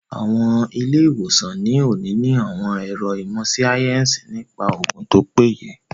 Àwọn ilé-ìwòsàn ní òní ní àwọn àwọn ẹ̀ro ìmọ̀ síáyẹ́nsì nípa oògùn tó péye